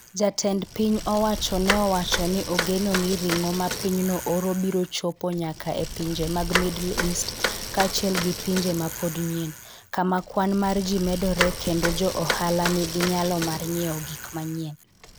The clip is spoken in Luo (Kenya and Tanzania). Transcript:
Jatend piny owacho ne owacho ni ogeno ni ring'o ma pinyno oro biro chopo nyaka e pinje mag Middle East kaachiel gi pinje ma pod nyien, kama kwan mar ji medoree kendo jo ohala nigi nyalo mar nyiewo gik mang'eny.